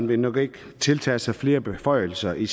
vil tiltage sig flere beføjelser i